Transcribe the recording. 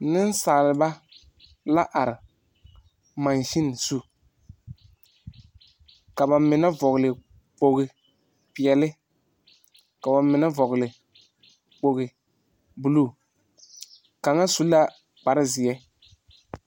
Nesaalba la are masen zu. Ka ba mene vogle kpoge piɛli, ka ba mene voge kpoge buluu. Kanga su la kpare zie